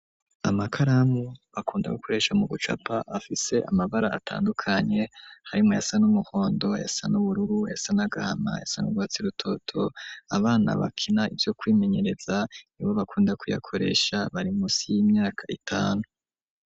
Amakaramu, bakunda gukoresha, mu gucapa, afise amabara, atandukanye; harimwo ayasa n'umuhondo, ayasa n'ubururu, ayasa n'agahama, ayasa n’urwatsi rutoto; abana bakina, ivyo kwimenyereza, nibo bakunda kuyakoresha, bari munsi, y'imyaka itanu.